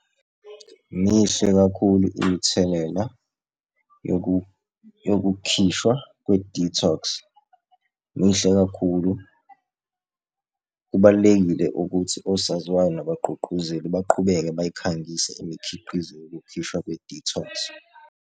Mihle kakhulu imithelela yokukhishwa kwe-detox, mihle kakhulu. Kubalulekile ukuthi osaziwayo nabagqugquzeli baqhubeke bayikhangise imikhiqizo yokukhishwa kwe-detox.